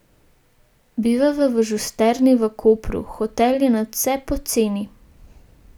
Bivava v Žusterni v Kopru, hotel je nadvse poceni.